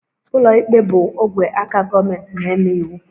Ụlọikpe bụ ogwe aka gọọmentị na-eme iwu